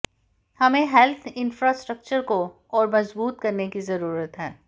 हमें health infrastructure को और मजबूत करने की जरूरत है